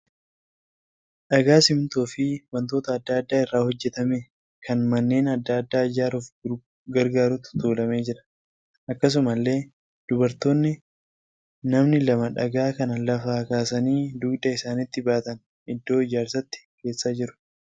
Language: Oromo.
Dhagaa simmintoo fi wantoota adda addaa irra hojjetame kan manneen adda addaa ijaaruuf gargaarutu tuulamee jira. Akkasumallee dubartoonni namni lama dhagaa kana lafaa kaasanii dugda isaaniitti baatanii iddoo ijaarsaatti geessaa jiru.